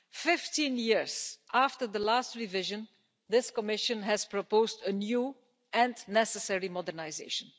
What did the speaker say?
Fifteen years after the last revision, this Commission has proposed a new and necessary modernisation.